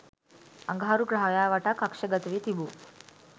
අඟහරු ග්‍රහයා වටා කක්ෂගතවී තිබූ